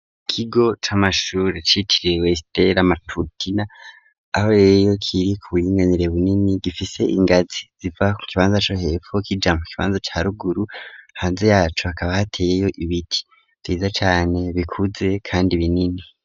Ikigo camashure c'icitiriwe sitera matutina aho rero kiri ku buyinganire bunini gifise ingazi ziva ku kibanza co hepfu k'ijambo kibanza ca ruguru hanze yacu akaba hateyeyo ibiti vyiza cyane bikuze kandi binini.